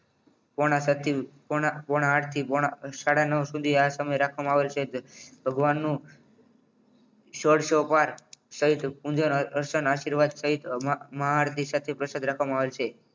પુણા સાતથી પુણા આઠ થી પુણા સાડા નવ સુધી આ સમય રાખવામાં આવેલ છે ભગવાનનો સૌ પાઠ સહિત પુંજન તથા અર્ચન આશીર્વાદ સહિત મહા આરતી સાથે પ્રસાદ રાખવામાં આવેલ છે